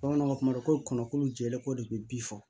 Bamananw ka kuma do ko kɔnɔ ko jɛko de bɛ bi fɔ